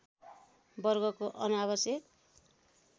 वर्गको अनावश्यक